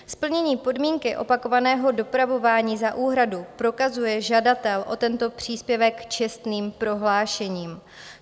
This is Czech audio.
Splnění podmínky opakovaného dopravování za úhradu prokazuje žadatel o tento příspěvek čestným prohlášením.